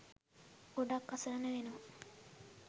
ගොඩක් අසරණ වෙනවා.